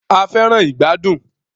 A fẹràn ìgbàdùn.